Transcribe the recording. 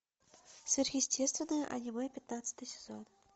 сверхъестественное аниме пятнадцатый сезон